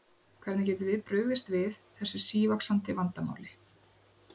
Hvernig getum við brugðist við þessu sívaxandi vandamáli?